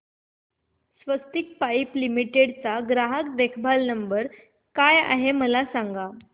स्वस्तिक pipe limited चा ग्राहक देखभाल नंबर काय आहे मला सांगा